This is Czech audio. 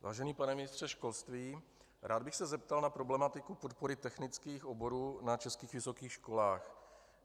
Vážený pane ministře školství, rád bych se zeptal na problematiku podpory technických oborů na českých vysokých školách.